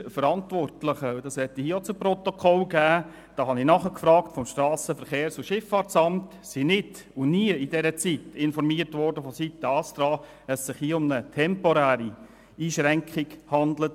Die Verantwortlichen beim SVSA wurden vom ASTRA nicht und nie darüber informiert, dass es sich um eine temporäre Einschränkung respektive Sperrung handelt.